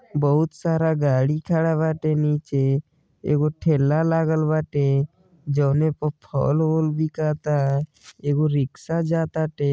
बहुत सारा गाड़ी खड़ा बाटे नीचे। एगो ठेला लागल बाटे प फल ओल बिकाता। एगो रीक्शा जा ताटे।